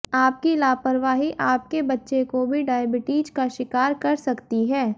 आपकी लापरवाही आपके बच्चे को भी डायबिटीज का शिकार कर सकती है